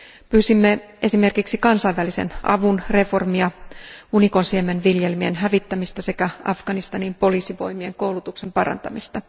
Pyysimme esimerkiksi kansainvälisen avun reformia, unikonsiemenviljelmien hävittämistä sekä Afganistanin poliisivoimien koulutuksen parantamista.